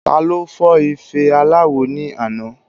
Taló fọ́ ife aláwo ní àná